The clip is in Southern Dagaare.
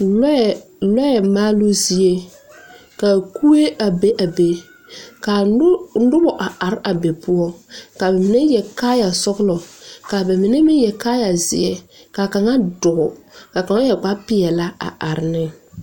Lɔɛ lɔɛ maaluu zie ka kuri be a be ka noba are are be poɔ ka mine yɛre kaaya sɔglɔ ka ba mine meŋ yɛre kaaya zeɛ kaŋa dɔɔ ka kaŋa yɛre kparepeɛle a are ne.